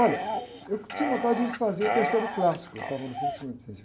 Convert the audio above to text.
Olha, eu tinha vontade de fazer o terceiro clássico, eu estava no fim do segundo científico